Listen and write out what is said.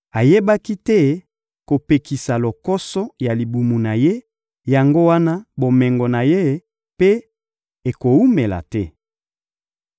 Ayebaki te kopekisa lokoso ya libumu na ye, yango wana bomengo na ye mpe ekowumela te.